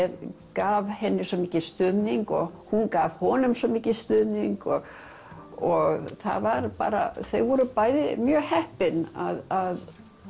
gaf henni svo mikinn stuðning og hún gaf honum svo mikinn stuðning og og það var bara þau voru bæði mjög heppin að